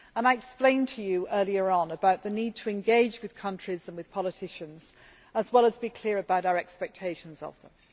I explained earlier on about the need to engage with countries and with politicians, as well as to be clear about our expectations of them.